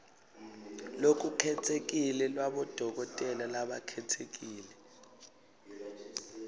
lolukhetsekile lwabodokotela labakhetsekile